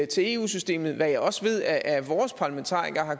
til eu systemet hvad jeg også ved at vores parlamentarikere